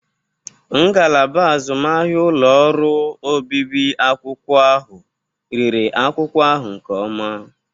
Ngalaba azụmahịa ụlọ ọrụ obibi akwụkwọ ahụ rere akwụkwọ ahụ nke ọma.